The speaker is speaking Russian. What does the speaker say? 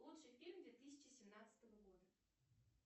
лучший фильм две тысячи семнадцатого года